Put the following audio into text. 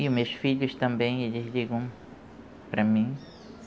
E os meus filhos também, eles ligam para mim.